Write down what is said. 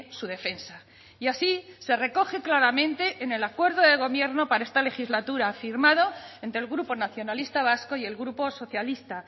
su defensa y así se recoge claramente en el acuerdo de gobierno para esta legislatura firmado entre el grupo nacionalista vasco y el grupo socialista